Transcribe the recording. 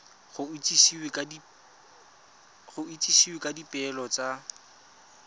go itsisiwe ka dipoelo tsa